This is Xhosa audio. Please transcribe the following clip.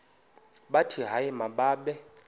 bathi hayi mababe